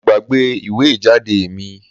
Mo gbàgbé ìwé ìjáde mi